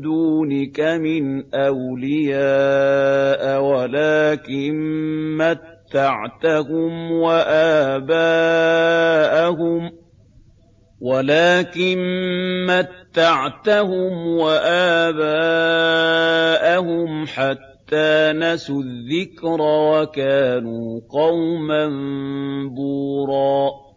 دُونِكَ مِنْ أَوْلِيَاءَ وَلَٰكِن مَّتَّعْتَهُمْ وَآبَاءَهُمْ حَتَّىٰ نَسُوا الذِّكْرَ وَكَانُوا قَوْمًا بُورًا